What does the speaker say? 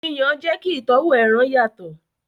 Yíyan jẹ kí ìtọ́wò ẹran yàtọ̀.